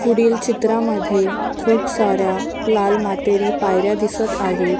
पुढील चित्रामध्ये खूप साऱ्या लाल मातेरी पायऱ्या दिसत आहेत.